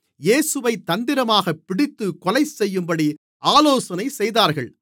இயேசுவைத் தந்திரமாகப் பிடித்துக் கொலைசெய்யும்படி ஆலோசனை செய்தார்கள்